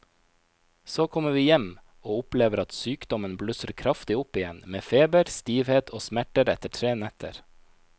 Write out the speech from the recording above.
Så kommer vi hjem og opplever at sykdommen blusser kraftig opp igjen med feber, stivhet og smerter etter tre netter.